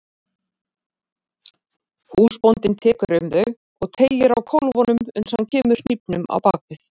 Húsbóndinn tekur um þau og teygir á kólfunum uns hann kemur hnífnum á bak við.